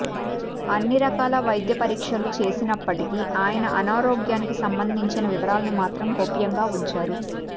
అన్ని రకాల వైద్య పరీక్షలు చేసినప్పటికీ ఆయన అనారోగ్యానికి సంబంధించిన వివరాలను మాత్రం గోప్యంగా ఉంచారు